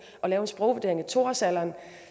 at lave en sprogvurdering i to årsalderen